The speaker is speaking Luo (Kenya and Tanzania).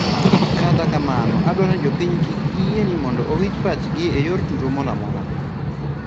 Kata kamano adwaroni jopiny kik giyeeni mondo owich pachgi e yor tulo moramora